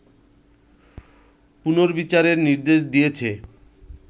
পুনর্বিচারের নির্দেশ দিয়েছে